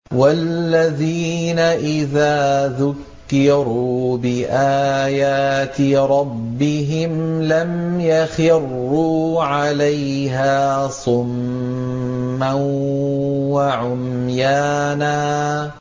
وَالَّذِينَ إِذَا ذُكِّرُوا بِآيَاتِ رَبِّهِمْ لَمْ يَخِرُّوا عَلَيْهَا صُمًّا وَعُمْيَانًا